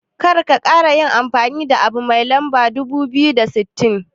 Karka kara yin amfani abu mai lamba dubu biyu da sittin.